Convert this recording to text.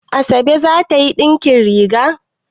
Asabe za ta yi ɗinkin riga?